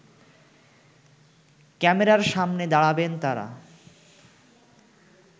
ক্যামেরার সামনে দাঁড়াবেন তারা